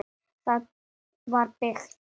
Það var byggt